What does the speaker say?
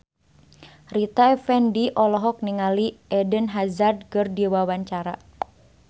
Rita Effendy olohok ningali Eden Hazard keur diwawancara